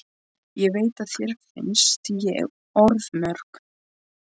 Ég veit að þér finnst ég orðmörg.